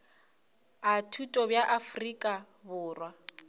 a thuto bja afrika borwa